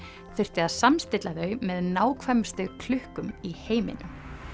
þurfti að samstilla þau með nákvæmustu klukkum í heiminum